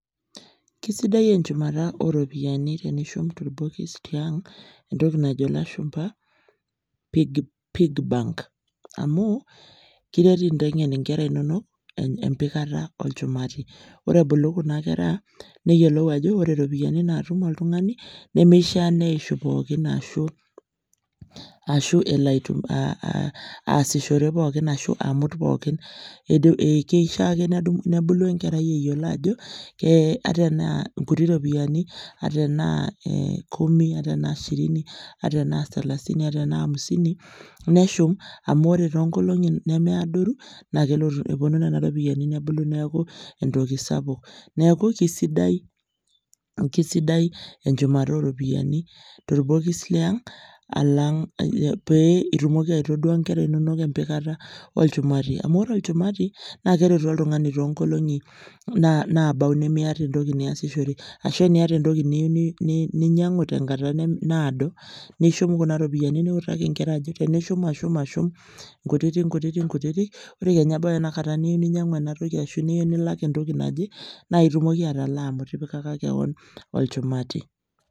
Kesidai enchumata o ropiani tenishum torbokis tiang' entoki najo ilashumba pig piggy bank amu kiret inteng'en nkera inonok empikata olchumati. Ore ebulu kuna kera neyolou ajo ore ropiani naatum oltung'ani nemeishaa neishu pookin ashu ashu elo aitu aitumi aasishore pookin ashu amut pookin. um keishaa ake nedum nebulu enkerai eyiolo ajo kee ata enaa nkuti ropiani, ataa enaa ee kumi ata enaa ishirini ata enaa selasini, ata enaa hamisini, neshum amu ore too nkolong'i nemeadoru naake elotu eponu nena ropiani nebulu neeku entoki sapuk. Neeku kesidai kesidai enchumata o ropiani torbokis leang' alang' pee itumoki aitodua nkera inonok empikata olchumati. Amu ore olchumati naake eretu oltung'ani too nkolong'i naabau nemiyata entoki niyasishore ashu eniyata entoki niyiu ni ninyang'u tenkata naado, nishum kuna ropiani niutaki nkera ajoki enishum ashu ashum nkutiti nkutiti nkutitik ore kenya ebau ina kata niyeu ninyang'u ena toki ashu niyeu nilak entoki naje naaye itumoki atalaa amu itipikaka keon olchumati.